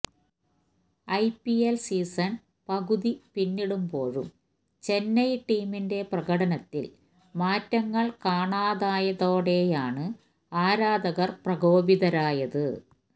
IPL season പകുതി പിന്നിടുമ്പോഴും ചെന്നൈ ടീമിന്റെ പ്രകടനത്തിൽ മാറ്റങ്ങൾ കാണാതായതോടെയാണ് ആരാധകർ പ്രകോപിതരായത്